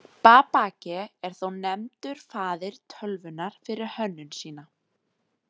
Babbage er þó nefndur faðir tölvunnar fyrir hönnun sína.